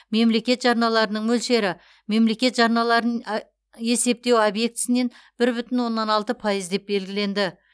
мемлекет жарналарының мөлшері мемлекет жарналарын есептеу объектісінен бір бүтін оннан алты пайыз деп белгіленді